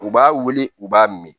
U b'a wele u b'a min